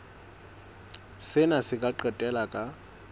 sena se ka qetella ka